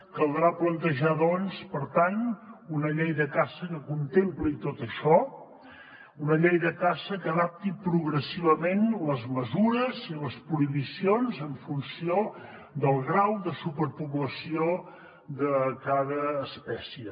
caldrà plantejar doncs per tant una llei de caça que con·templi tot això una llei de caça que adapti progressivament les mesures i les prohi·bicions en funció del grau de superpoblació de cada espècie